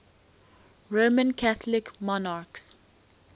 roman catholic monarchs